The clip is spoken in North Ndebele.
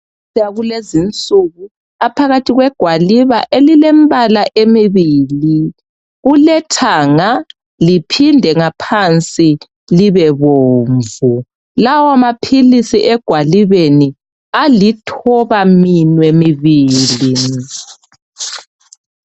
Amaphilisi akulezi insuku aphakathi kwegwaliba elilembala emibili, kulethanga liphinde ngaphansi libebomvu. Lawa maphilisi egwalibeni alithobaminwe mibili.